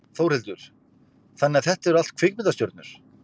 Þórhildur: Þannig að þetta eru allt kvikmyndastjörnur?